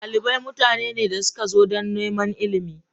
Dalibai mutane ne da suka zo don neman ilimi.